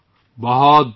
آپ کا بہت شکریہ